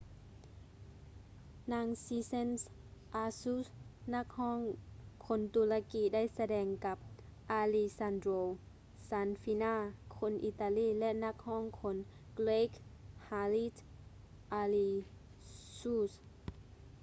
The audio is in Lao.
ນາງ sezen aksu ນັກຮ້ອງຄົນຕຸລາກີໄດ້ສະແດງກັບ alessandro safina ຄົນອີຕາລີ ແລະ ນັກຮ້ອງຄົນເກຣັກ haris alexiou